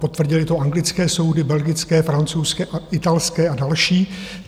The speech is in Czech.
Potvrdily to anglické soudy, belgické, francouzské, italské a další.